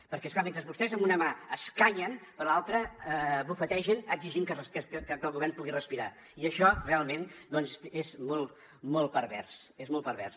perquè és clar mentre vostès amb una mà escanyen per l’altra bufetegen exigint que el govern pugui respirar i això realment doncs és molt pervers és molt pervers